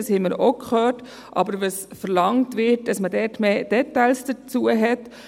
Es wird verlangt, dass man hierzu mehr Details erhält.